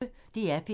DR P1